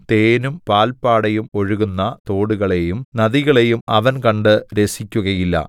തേനും പാൽപാടയും ഒഴുകുന്ന തോടുകളെയും നദികളെയും അവൻ കണ്ടു രസിക്കുകയില്ല